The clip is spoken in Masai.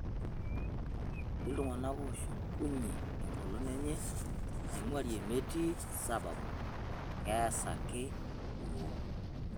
Etii iltung'ana ooshukunye engolon enye naingwarie metii sababu keesa ake duo.